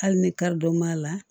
Hali ni karidon b'a la